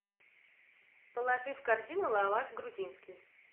положи в корзину лаваш грузинский